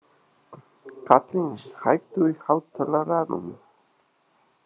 Kaðlín, hækkaðu í hátalaranum.